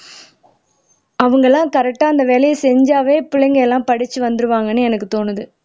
அவங்கெல்லாம் கரெக்டா அந்த வேலையை செஞ்சாவே பிள்ளைங்க எல்லாம் படிச்சு வந்துருவாங்கன்னு எனக்கு தோணுது